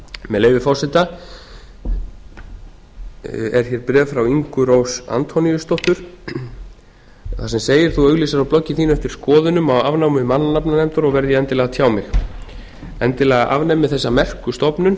með leyfi forseta er hér bréf frá ingu rós antoníusdóttur þar sem segir þú auglýsir á bloggi þínu eftir skoðunum á afnámi mannanafnanefndar og verð ég endilega að tjá mig endilega afnemið þessa merku stofnun